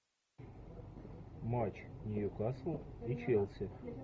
матч ньюкасл и челси